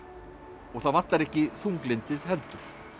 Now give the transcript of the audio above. og það vantar ekki þunglyndið heldur